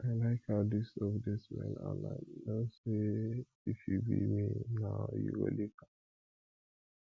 i like how dis soap dey smell and i no say if you be me now you go lick am